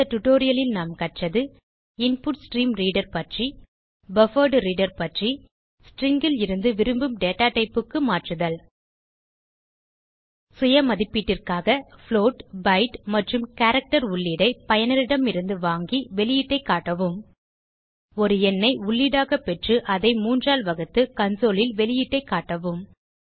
இந்த டியூட்டோரியல் ல் நாம் கற்றது160 இன்புட்ஸ்ட்ரீம்ரீடர் பற்றி பஃபர்ட்ரீடர் பற்றி ஸ்ட்ரிங் லிருந்து விரும்பும் datatypeக்கு மாற்றுதல் சுய மதிப்பீட்டிற்காக புளோட் பைட் மற்றும் கேரக்டர் உள்ளீடை பயனரிடமிருந்து வாங்கி வெளியீட்டை காட்டவும் ஒரு எண்ணை உள்ளீடாக பெற்று அதை 3 ஆல் வகுத்து கன்சோல் ல் வெளியீட்டைக் காட்டவும்